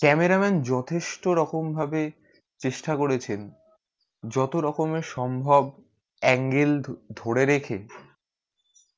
camera man যথেষ্ট রকম ভাবে চেষ্টা করেছেন যত রকমে সম্ভব angle ধরে রেখে